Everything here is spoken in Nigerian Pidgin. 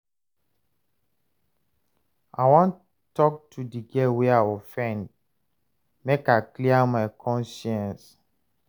I wan tok to di girl wey I offend, make I clear my conscience.